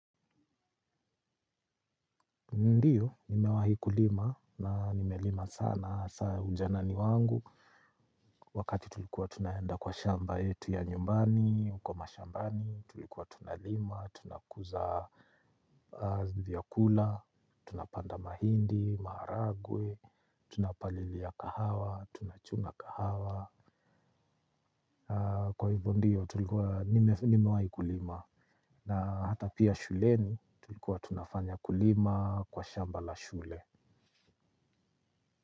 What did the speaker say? Ndiyo nimewahi kulima na nimelima sana hasaa ya ujanani wangu. Wakati tulikuwa tunaenda kwa shamba yetu ya nyumbani, uko mashambani. Tulikuwa tunalima, tunakuza vyakula, tunapanda mahindi, maharagwe. Tunapalilia kahawa, tunachunga kahawa. Kwa hivyo ndiyo tulikuwa nimewahi kulima. Na hata pia shuleni tulikuwa tunafanya kulima kwa shamba la shule.